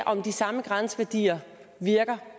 om de samme grænseværdier virker